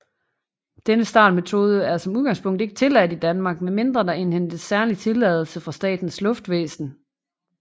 Denne startmetode er som udgangspunkt ikke tilladt i Danmark med mindre der indhentes særlig tilladelse fra Statens Luftfartsvæsen